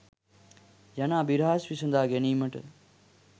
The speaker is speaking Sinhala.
යන අභිරහස් විසදා ගැනීමට